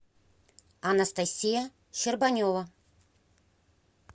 анастасия щербанева